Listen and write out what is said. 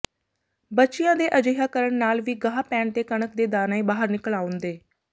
ਬੱਚਿਆਂ ਦੇ ਅਜਿਹਾ ਕਰਨ ਨਾਲ ਵੀ ਗਾਹ ਪੈਣ ਤੇ ਕਣਕ ਦੇ ਦਾਣੇ ਬਾਹਰ ਨਿਕਲ ਆਉਂਦੇ